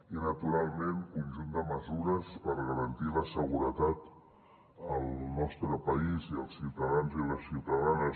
i naturalment conjunt de mesures per garantir la seguretat al nostre país i als ciutadans i les ciutadanes